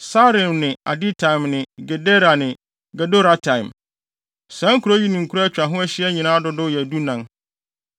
Saaraim ne Aditaim ne Gedera ne Gederotaim. Saa nkurow yi ne nkuraa a atwa ho ahyia nyinaa dodow yɛ dunan.